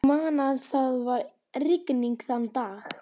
Ég man að það var rigning þann dag.